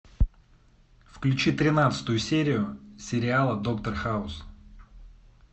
включи тринадцатую серию сериала доктор хаус